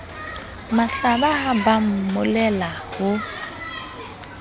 mahlaba ha ba mmolella ho